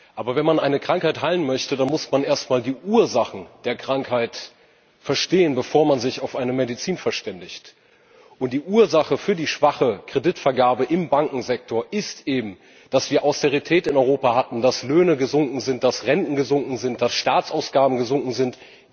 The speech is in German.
Aber wenn man eine Krankheit heilen möchte, dann muss man erst mal die Ursachen der Krankheit verstehen, bevor man sich auf eine Medizin verständigt. Und die Ursache für die schwache Kreditvergabe im Bankensektor ist eben, dass wir Austerität in Europa hatten, dass Löhne gesunken sind, dass Renten gesunken sind, dass Staatsausgaben gesunken sind.